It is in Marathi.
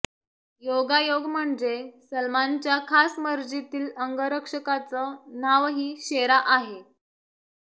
योगायोग म्हणजे सलमानच्या खास मर्जीतील अंगरक्षकाचं नावही शेरा आहे